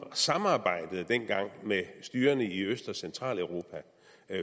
samarbejdede med styrerne i øst og centraleuropa og